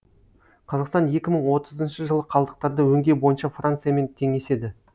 қазақстан екі мың отызыншы жылы қалдықтарды өңдеу бойынша франциямен теңеседі